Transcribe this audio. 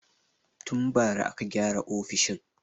Tun bara aka gyara ofishin.